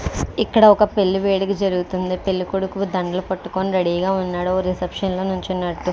ఇక్కడ ఒక పెళ్లి వేడుక జరుగుతుంది పెళ్ళికొడుకుడు దండలు పట్టుకొని రెడీ గా ఉన్నాడు ఓ రిసెప్షన్ లో నుల్చున్నట్లు --